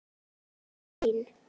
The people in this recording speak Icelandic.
Ég var ein.